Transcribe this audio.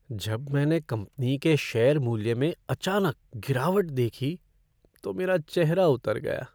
जब मैंने कंपनी के शेयर मूल्य में अचानक गिरावट देखी तो मेरा चेहरा उतर गया।